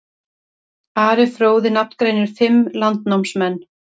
Ari fróði nafngreinir fimm landnámsmenn.